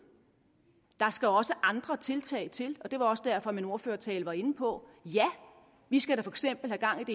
der skal også andre tiltag til og det var også derfor min ordførertale var inde på at ja vi skal da for eksempel have langt